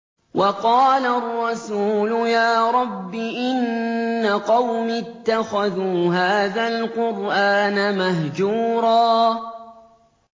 وَقَالَ الرَّسُولُ يَا رَبِّ إِنَّ قَوْمِي اتَّخَذُوا هَٰذَا الْقُرْآنَ مَهْجُورًا